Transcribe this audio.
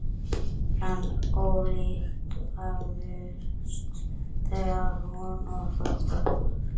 En ólíkt höfðust þau að, hún og Þórbergur.